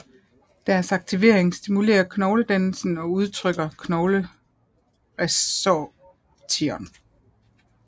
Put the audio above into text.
Deres aktivering stimulerer knogledannelse og undertrykker knogleresorption